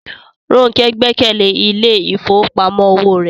Ronke gbẹ́kẹ̀lé ilé ìfowópamọ́ òwò rẹ̀